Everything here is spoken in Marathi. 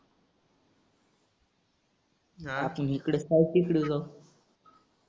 आपुन इकड साई टेकडीवर जाऊ.